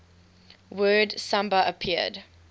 word samba appeared